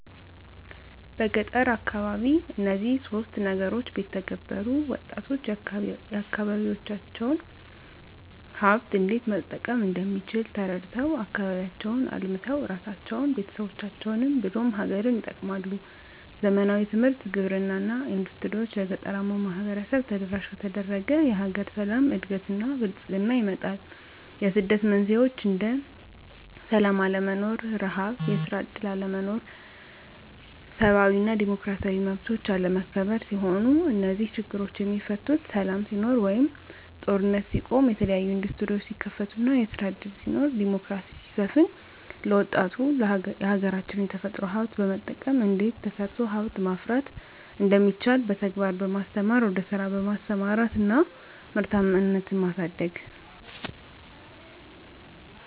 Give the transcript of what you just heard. በገጠር አካባቢ እነዚህን ሶስት ነገሮች ቢተገበሩ -ወጣቶች የአካባቢዎቻቸውን ሀብት እንዴት መጠቀም እንደሚችል ተረድተው አካባቢያቸውን አልምተው እራሳቸውን፤ ቤተሰቦቻቸውን ብሎም ሀገርን ይጠቅማሉ። ዘመናዊ ትምህርት፤ ግብርና እና ኢንዱስትሪዎች ለገጠራማው ማህበረሰብ ተደራሽ ከተደረገ የሀገር ሰላም፤ እድገት እና ብልፅግና ይመጣል። የስደት መንስኤዎች እንደ ስላም አለመኖር፤ ርሀብ፤ የስራ እድል አለመኖር፤ ሰብአዊ እና ዲሞክራሲያዊ መብቶች አለመከበር ሲሆኑ -እነዚህ ችግሮች የሚፈቱት ሰላም ሲኖር ወይም ጦርነት ሲቆም፤ የተለያዬ እንዱስትሪዎች ሲከፈቱ እና ስራ እድል ሲኖር፤ ዲሞክራሲ ሲሰፍን፤ ለወጣቱ የሀገራች የተፈጥሮ ሀብት በመጠቀም እንዴት ተሰርቶ ሀብት ማፍራት እንደሚቻል በተግባር በማስተማር ወደ ስራ በማሰማራት እና ምርታማነትን ማሳደግ።